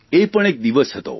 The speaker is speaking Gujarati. એ પણ એક દિવસ હતો